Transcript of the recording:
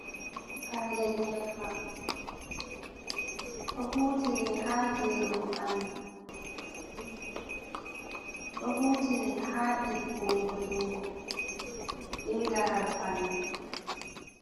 Paalel nyebbam, ɗo hutire ha gerugo ɓandu, ɗo hutire ha ɗiggungo jungo be laral ɓandu.